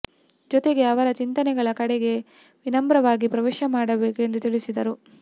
ಜೊತೆಗೆ ಅವರ ಚಿಂತನೆಗಳ ಕಡೆಗೆ ವಿನಮ್ರವಾಗಿ ಪ್ರವೇಶ ಮಾಡಬೇಕು ಎಂದು ತಿಳಿಸಿದರು